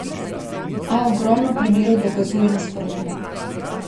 A ogromno primerov dokazuje nasprotno.